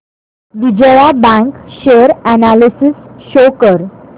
Vijaya bank share analysis show कर